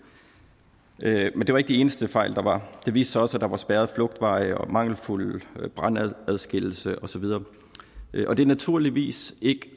men det var ikke de eneste fejl der var det viste sig også at der var spærrede flugtveje og mangelfuld brandadskillelse og så videre og det er naturligvis ikke